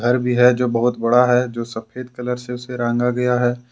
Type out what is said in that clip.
जो बहुत बड़ा है जो सफेद कलर से उसे रंगा गया है।